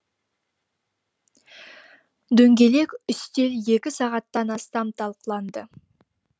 дөңгелек үстел екі сағаттан астам талқыланды